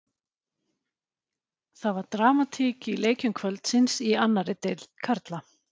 Það var dramatík í leikjum kvöldsins í annarri deild karla.